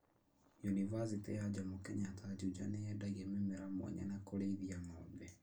Yunibathĩtĩ ya Jomo Kenyatta Juja nĩyendagia mĩmera mwanya na kũrĩithia ng'ombe